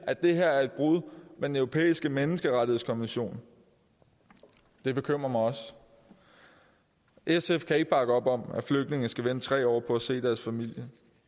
at det her er et brud med den europæiske menneskerettighedskonvention det bekymrer mig også sf kan ikke bakke op om at flygtninge skal vente tre år på at se deres familie